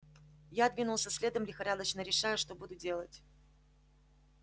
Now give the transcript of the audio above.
я двинулся следом лихорадочно решая что буду делать